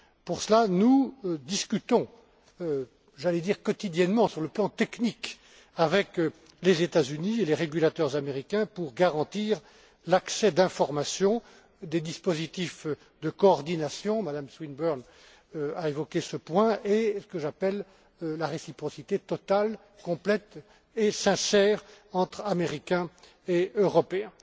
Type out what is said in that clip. Pour cela, nous discutons j'allais dire quotidiennement sur le plan technique, avec les États Unis et les régulateurs américains pour garantir l'accès aux informations des dispositifs de coordination Mme Swinburne a évoqué ce point et la réciprocité totale, complète et sincère entre Américains et Européens.